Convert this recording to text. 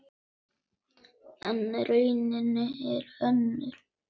En raunin er önnur.